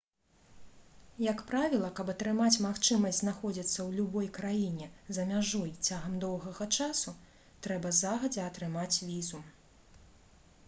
як правіла каб атрымаць магчымасць знаходзіцца ў любой краіне за мяжой цягам доўгага часу трэба загадзя атрымаць візу